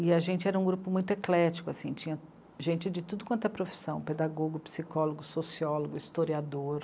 E a gente era um grupo muito eclético, assim, tinha gente de tudo quanto é profissão, pedagogo, psicólogo, sociólogo, historiador.